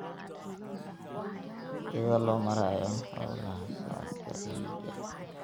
iyada oo loo marayo hawlaha socodka eeyga.